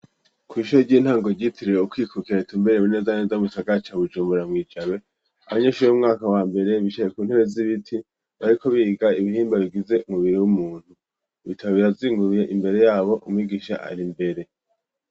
Kw'ishure ry'intango ryitiriwe ukwikukira ritumbereye neza na neza mu gisagara ca Bujumbura mwi jabe abanyeshure b'umwaka wa mbere bicaye ku ntebe z'ibiti bariko biga ibihimba bigize umubiri w'umuntu ibitabo birazinguruye imbere yabo umwigisha ari mbere.